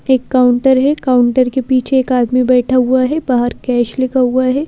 एक काउंटर है काउंटर के पीछे एक आदमी बैठा हुआ है बाहर कैश लिखा हुआ है।